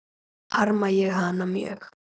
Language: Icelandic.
Harma ég hana mjög.